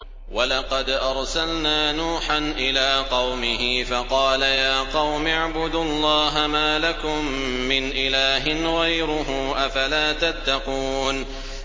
وَلَقَدْ أَرْسَلْنَا نُوحًا إِلَىٰ قَوْمِهِ فَقَالَ يَا قَوْمِ اعْبُدُوا اللَّهَ مَا لَكُم مِّنْ إِلَٰهٍ غَيْرُهُ ۖ أَفَلَا تَتَّقُونَ